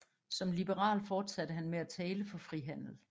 Som liberal fortsatte han med at tale for frihandel